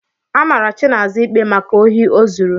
Amara Chinaza ikpe maka osi o zuru.